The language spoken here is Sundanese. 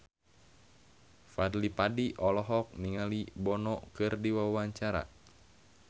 Fadly Padi olohok ningali Bono keur diwawancara